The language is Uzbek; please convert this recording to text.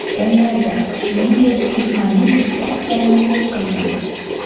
Janglarda, shuningdek, dushmanning ikki askarini yo‘q qilgan.